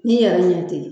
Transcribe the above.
N'i yɛrɛ ɲɛ te yen